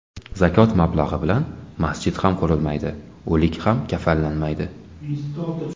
Zakot mablag‘i bilan masjid ham qurilmaydi, o‘lik ham kafanlanmaydi.